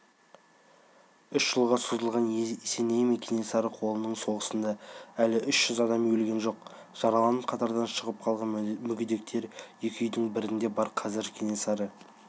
үш жылға созылған есеней мен кенесары қолының соғысында әлі үш жүз адам өлген жоқ жараланып қатардан шығып қалған мүгедектер екі үйдің бірінде бар қазір кенесары